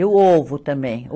E o ovo também.